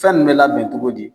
Fɛn nin bɛ labɛn cogo di.